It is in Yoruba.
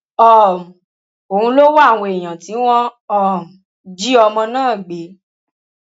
um òun ló wá àwọn èèyàn tí wọn um jí ọmọ náà gbé